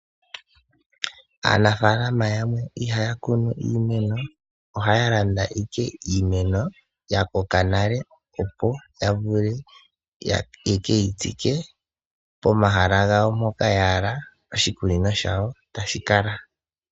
Aanafaalama yamwe ihaya kunu iimeno ohaya landa ike iimeno ya koka nale opo ya vule ye keyi tsike pomahala gayo mpoka ya hala oshikunino shayo tashi kala.